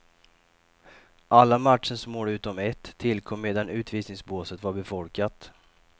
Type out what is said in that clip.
Alla matchens mål utom ett tillkom medan utvisningsbåset var befolkat.